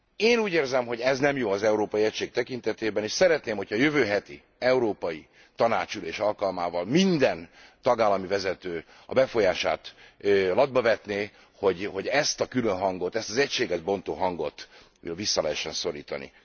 Én úgy érzem, hogy ez nem jó az európai egység tekintetében, és szeretném, hogyha a jövő heti európai tanácsi ülés alkalmával minden tagállami vezető a befolyását latba vetné, hogy ezt a külön hangot, ezt az egységet bontó hangot vissza lehessen szorítani.